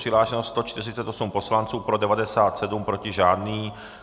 Přihlášeno 148 poslanců, pro 97, proti žádný.